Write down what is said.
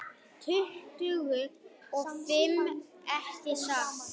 Tuttugu og fimm, ekki satt?